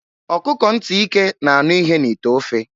Ọkụkọ nti ike na-anụ ihe n'ite ofe.